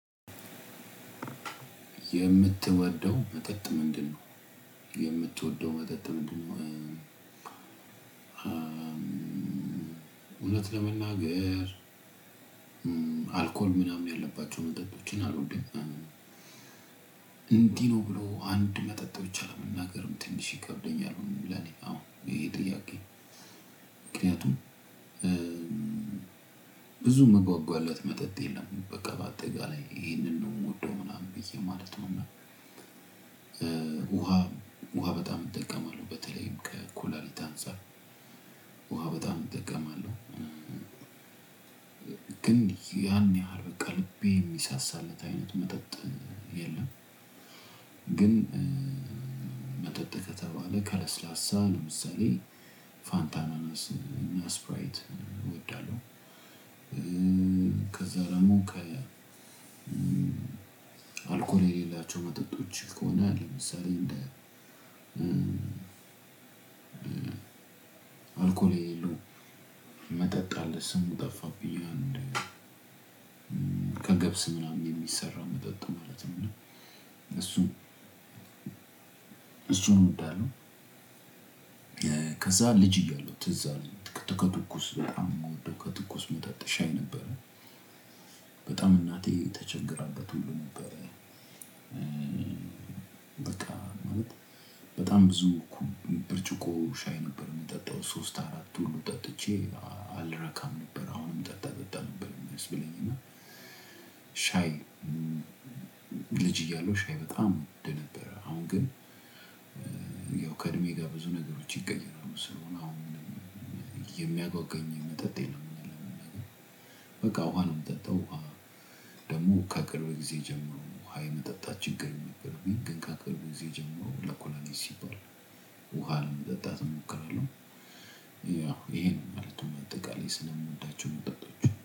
የምትወደው መጠጥ ምንድነው የምትወደው መጠጥ ምንድነው? እውነት ለመናገር አልኮል ምናምን ያለባቸውን መጠጦችን አልወደም እና እንዲህ ነው ብሎ አንድ መጠጥ ብቻ መናገር ትንሽ ይከብደኛል ለእኔ አሁን ይሄ ጥያቄ። ምክንያቱም ብዙ መጓጓላት መጠጥ የለም በቃ በአጠቃላይ ይሄንን ነው የምወደው ምናምን ብዬ ማለት ነው። እና ውሃ ውሃ በጣም እጠቀማለሁ በተለይም ከኩላሊት አንፃር ውሃ በጣም እጠቀማለሁ። ግን ያን ያህል በቃ ልቤ የሚሳሳለት አይነት መጠጥ የለም። ግን መጠጥ ከተባለ ከለስላሳ ለምሳሌ ፋንታ አናናስ እና ስፕራይት እወዳለሁ። ከዛ ደግሞ ከ አልኮል የሌላቸው መጠጦች ከሆነ ለምሳሌ እንደ አልኮል የሌለው መጠጥ አለ ስሙ ጠፋብኝ አንድ ከገብስ ምናምን የሚሰራ መጠጥ ማለት ነው እሱም እሱን እወዳለሁ። ከዛ ልጅ እያለው ትዝ አለኝ ከትኩስ በጣም የምወደው ከትኩስ ምጠጣው ሻይ ነበረ። በጣም እናቴ ተቸግራበት ሁሉ ነበረ። በቃ ማለት በጣም ብዙ እኩል ብርጭቆ ሻይ ነበር የምጠጣው ሶስት አራት ሁሉ ጠጥቼ አልረካም ነበር። አሁንም ጠጣ ጠጣ ነበር የሚያስብለኝ እና ሻይ ልጅ እያለው ሻይ በጣም እወደ ነበረ። አሁን ግን ያው ከእድሜ ጋር ብዙ ነገሮች ይገኛሉ ሰው አሁን የሚጓጓኝ መጠጥ የለም። በቃ ውሃ ነው የምጠጣው ውሃ ደግሞ ከቅርብ ጊዜ ጀምሮ ውሃ የመጠጣት ችግር የነበረው የገንቃ ቅርብ የጀመረው ለኩላሊት ሲባል ውሃ ለመጠጣት እሞክራለው። ያው ይሄን ማለት ነው በአጠቃላይ ስለምወዳቸው መጠጦች።